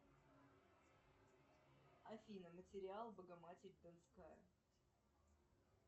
афина материал богоматерь донская